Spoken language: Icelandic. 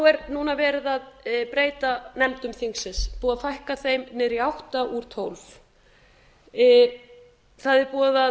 er núna verið að breyta nefndum þingsins búið að fækka þeim niður í átta úr tólf það er búið að